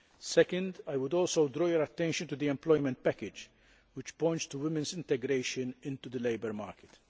Second, I would also draw your attention to the employment package, which points to women's integration into the labour market.